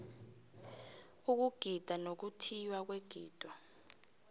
ukugida nokuthiywa kwegido